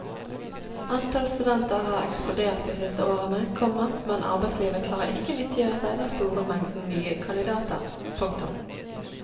Antall studenter har eksplodert de siste årene, komma men arbeidslivet klarer ikke å nyttiggjøre seg den store mengden nye kandidater. punktum